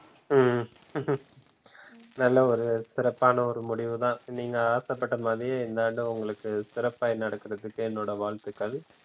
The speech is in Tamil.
உம் நல்லா ஒரு சிறப்பான ஒரு முடிவுதா நீங்க ஆசைப்பட்ட மாதிரியே இந்த ஆண்டு உங்களுக்கு சிறப்பாய் நடக்கிறதுக்கு என்னோட வாழ்த்துக்கள்.